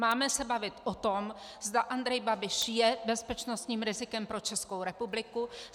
Máme se bavit o tom, zda Andrej Babiš je bezpečnostním rizikem pro Českou republiku.